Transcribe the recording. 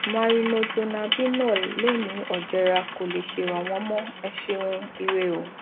marinodronabinol lè ní òjera kò le ṣèrànwọ mọ ẹ ṣeun ire o